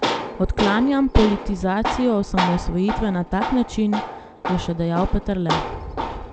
Odklanjam politizacijo osamosvojitve na tak način, je še dejal Peterle.